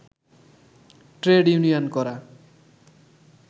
trade union করা